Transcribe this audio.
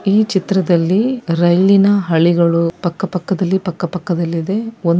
ಈ ಚಿತ್ರದಲ್ಲಿ ರೈಲಿನ ಹಳಿಗಳು ಪಕ್ಕ ಪಕ್ಕದಲ್ಲಿ ಪಕ್ಕ ಪಕ್ಕದಲ್ಲಿ ಇದೆ. ಒಂದ್ --